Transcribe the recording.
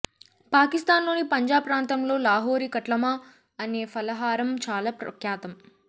పాకిస్థాన్ లోని పంజాబ్ ప్రాంతంలో లాహోరీ కట్లమా అనే ఫలహారం చాలా ప్రఖ్యాతం